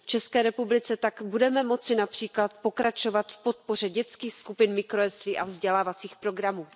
V České republice tak budeme moci například pokračovat v podpoře dětských skupin, mikrojeslí a vzdělávacích programů.